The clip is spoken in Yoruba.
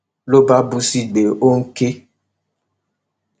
ló bá bú sígbè ó ń ké